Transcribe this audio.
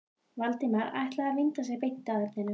Valdimar ætti að vinda sér beint að efninu.